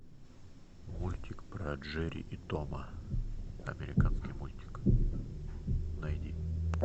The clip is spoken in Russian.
мультик про джерри и тома американский мультик найди